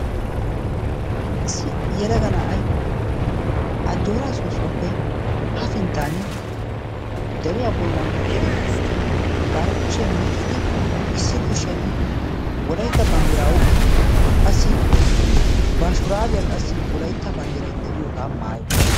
Issi yelaga na'ay ajjoora soossuwaappe yafinttan deriyaa bollan eqqidi bari kushiyaa miccidi wolaytta banddira oyqqidi bar shuraabiya qassi Wolaytta banddiray de'iyooga maayyi uttiis.